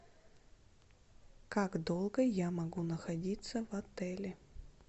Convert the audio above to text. как долго я могу находиться в отеле